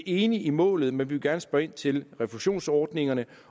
enige i målet men vi vil gerne spørge ind til refusionsordningerne